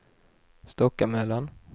Stockamöllan